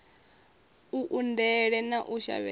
a undele na u shavhedza